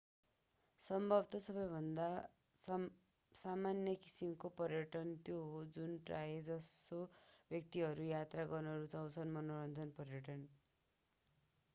सम्भवतः सबैभन्दा सामान्य किसिमको पर्यटन त्यो हो जुन प्रायः जसो व्यक्तिहरू यात्रा गर्न रुचाउँछन्ः मनोरञ्जन पर्यटन